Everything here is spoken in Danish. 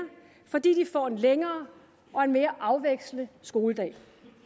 fordi de får en længere og mere afvekslende skoledag